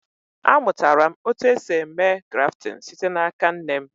A mụtara m otu esi eme grafting site n'aka nne m